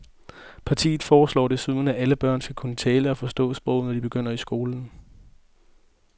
Partiet foreslår desuden, at alle børn skal kunne tale og forstå sproget, når de begynder i skolen.